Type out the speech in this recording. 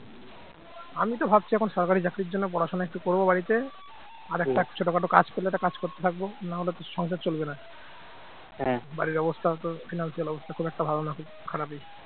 আমি তো ভাবছি এখন সরকারি চাকরির জন্য পড়াশোনা একটু করব বাড়িতে। আর একটা ছোটখাটো কাজ পেলে একটা কাজ করতে থাকবো না হলে তো সংসার চলবে না বাড়ির অবস্থাও তো financial অবস্থা খুব একটা ভালো না, খারাপই